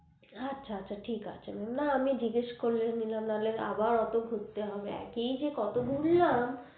আচ্ছা আচ্ছা ঠিক আছে mam না এমনি জিজ্ঞাস করে নিলাম নালে আবার আ ত খুঁজতে হবে একই যে কত ঘুরলাম